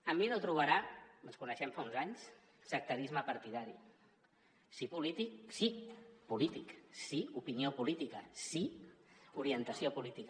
en mi no trobarà ens coneixem de fa uns anys sectarisme partidari sí polític sí polític sí opinió política sí orientació política